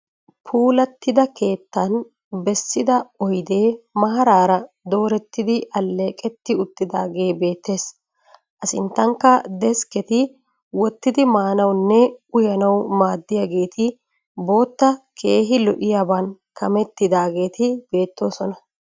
Puulattida keettan bessida oyidee maaraara doorettidi alleeqetti uttiidaagee beettes. A sinttankka deskketi wottidi maanawunne uyanawu maaddiyageeti bootta keehi lo"iyaban kamettidaageeti beettoosona.